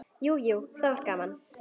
Jú, jú, það var gaman.